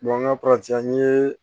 an ka an ye